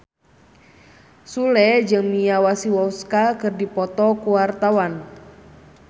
Sule jeung Mia Masikowska keur dipoto ku wartawan